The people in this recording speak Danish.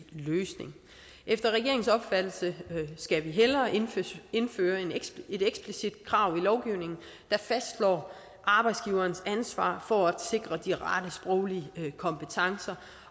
løsning efter regeringens opfattelse skal vi hellere indføre et eksplicit krav i lovgivningen der fastslår arbejdsgiverens ansvar for at sikre de rette sproglige kompetencer